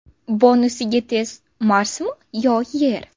Bonusiga test Marsmi yo Yer?